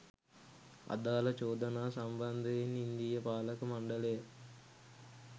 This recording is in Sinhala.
අදාළ චෝදනා සම්බන්ධයෙන් ඉන්දීය පාලක මණ්ඩලය